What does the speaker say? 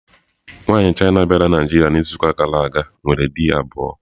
Nwaanyị China bịara Naịjirịa n'izuụka gara aga nwere di abụọ.